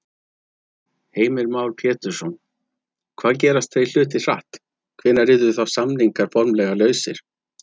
Heimir Már Pétursson: Hvað gerast þeir hlutir hratt, hvenær yrðu þá samningar formlega lausir?